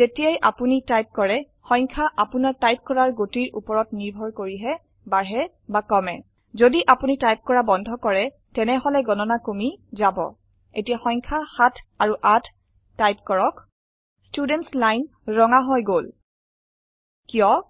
জেতিায়াই আপুনি টাইপ কৰে সংখয়া আপুনাৰ টাইপ কৰাৰ গতিৰ ওপৰত নিৰ্ভৰ কৰি হে বাঢ়ে বা কমে যদি আপুনি টাইপ কৰা বন্ধ কৰে তেনেহলে গনণা কমি যাব এতিয়া সংখয়া সাঠ আৰু আট টাইপ কৰক স্তূদেনট্চ লাইন ৰঙা হৈ গল কিয়